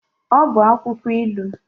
Ọ bụ akwụkwọ ilu.